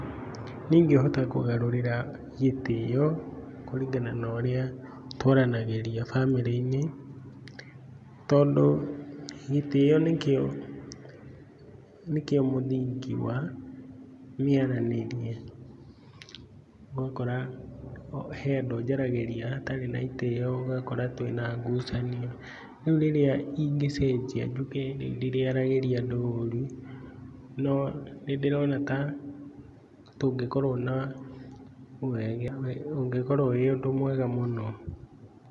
Niĩ ingĩhota kũgarũrĩra gĩtĩo kũringana na ũrĩa twaranagĩria bamĩrĩ-inĩ, tondũ gĩtĩo nĩkĩo nĩkĩo mũthingĩ wa mĩaranĩrie, ũgakora he andũ njaragĩria hatarĩ na itĩo, ũgakora twĩna ngucanio, rĩu rĩrĩa ingĩcenjia nduĩke ndirĩaragĩria andũ ũru, no nĩndĩrona ta tũngĩkorwo na ũngĩkorwo ũrĩ ũndũ mwega mũno.